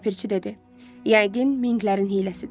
Ləpirçi dedi: "Yəqin minglərin hiyləsidir."